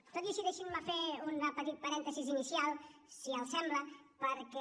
tot i així deixin me fer un petit parèntesi inicial si els sembla perquè